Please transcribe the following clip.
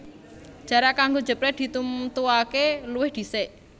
Jarak kanggo jeprèt ditemtuaké luwih dhisik